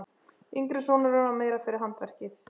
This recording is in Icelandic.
Yngri sonurinn var meira fyrir handverkið.